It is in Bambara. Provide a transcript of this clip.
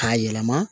K'a yɛlɛma